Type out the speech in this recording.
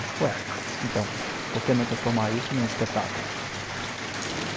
Ué, então, por que não transformar isso num espetáculo?